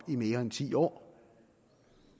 i mere end ti år